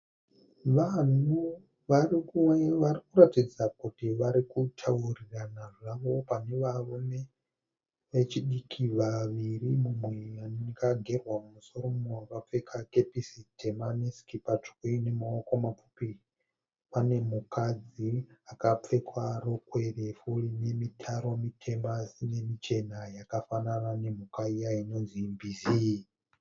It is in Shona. Vanhu varikuratidza kuti varikutaurirana zvavo. Pane varume vechidiki vaviri mumwe akagerwa musoro mumwe akapfeka kepisi tema nesikipa tsvuku inemaoko mapfupi. Pane mukadzi akapfeka rokwe refu inemitaro mitema asinemichena yakafanana nemhuka iya inonzi mbizi.